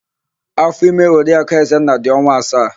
Áfọ̀ime Oriakụ Ezenna dị ọnwa asaa.